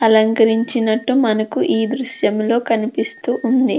అలంకరించినట్టు మనకి ఈ దృశ్యంలో కనిపిస్తూ ఉంది.